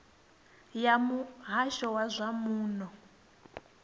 ya muhasho wa zwa muno